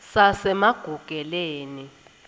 sasemagugeleni